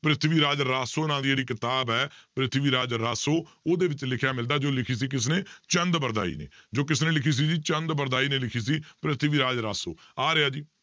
ਪ੍ਰਿਥਵੀ ਰਾਜ ਰਾਸੋ ਨਾਂ ਦੀ ਜਿਹੜੀ ਕਿਤਾਬ ਹੈ ਪ੍ਰਿਥਵੀ ਰਾਜ ਰਾਸੋ ਉਹਦੇ ਵਿੱਚ ਲਿਖਿਆ ਮਿਲਦਾ ਹੈ ਜੋ ਲਿਖੀ ਸੀ ਕਿਸਨੇ ਚੰਦ ਬਰਦਾਈ ਨੇ, ਜੋ ਕਿਸਨੇ ਲਿਖੀ ਸੀ ਜੀ ਚੰਦ ਬਰਦਾਈ ਨੇ ਲਿਖੀ ਸੀ, ਪ੍ਰਿਥਵੀ ਰਾਜ ਰਾਸੋ ਆ ਰਿਹਾ ਜੀ